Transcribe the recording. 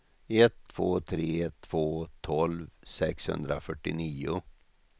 ett två tre två tolv sexhundrafyrtionio